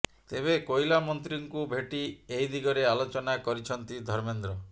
ତେବେ କୋଇଲା ମନ୍ତ୍ରୀଙ୍କୁ ଭେଟି ଏହି ଦିଗରେ ଆଲୋଚନା କରିଛନ୍ତି ଧର୍ମେନ୍ଦ୍ର